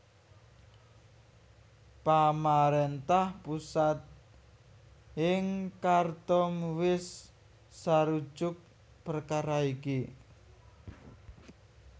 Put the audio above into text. Pamaréntah pusat ing Khartoum wis sarujuk perkara iki